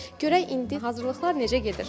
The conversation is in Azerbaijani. Görək indi hazırlıqlar necə gedir.